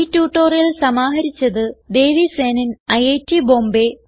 ഈ ട്യൂട്ടോറിയൽ സമാഹരിച്ചത് ദേവി സേനൻ ഐറ്റ് ബോംബേ